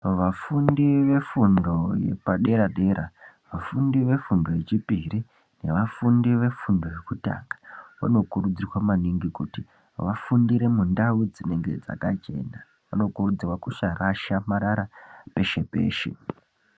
Vafundi vefundi yepadera-dera, vafundi vefundi yechipiri nevafundi vefundo yekutanga vanokurudzirwa maningi kuti vafundire mundau dzinenge dzakachena. Vanokurudzirwawo kusarasha marara peshe peshe.